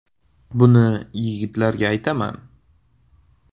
Buni yigitlarga aytaman.